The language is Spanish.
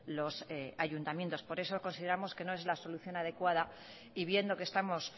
los ayuntamientos por eso consideramos que no es la solución adecuada y viendo que estamos